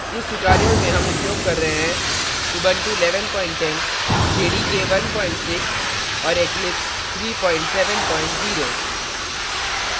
इस tutorial में हम उपयोग कर रहे हैं